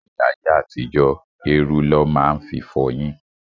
Ní ayé àtijó, érú lọ máa ń fi fọyín.